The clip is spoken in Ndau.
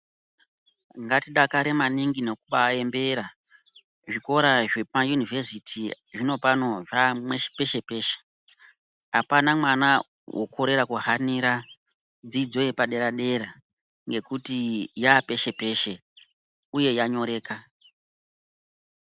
Ngatidakare maningi nokubaaembera, zvikora zvekumayunivhesiti zvinopano zvaapeshe-peshe. Apaana mwana wokorera kuhanira, dzidzo yepadera-dera, ngekuti yaapeshe peshe, uye yanyoreka.